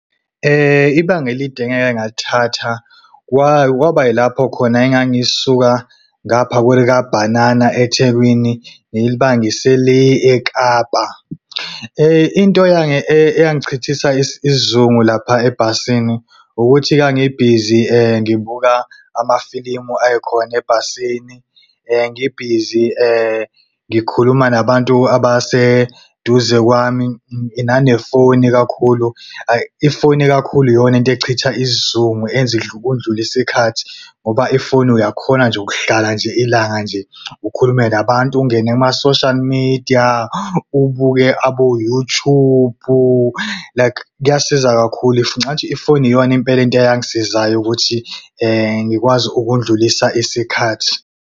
Ibanga elide engike ngalithatha, kwaba yilapho khona engangisuka ngapha kwelikabhanana eThekwini ngilibangise le eKapa. Into eyangichithisa isizungu lapha ebhasini, ukuthi ngangibhizi ngibuka amafilimu ayekhona ebhasini, ngibhizi ngikhuluma nabantu abaseduze kwami nanefoni ikakhulu. Ifoni kakhulu iyona into echitha isizungu enza kundlule isikhathi. Ngoba ifoni uyakhona nje ukuhlala nje ilanga nje ukhulume nabantu, ungene kuma-social media ubuke abo-YouTube like kuyasiza kakhulu. Ngicabanga ukuthi ifoni iyona impela into eyangisizayo ukuthi ngikwazi ukudlulisa isikhathi.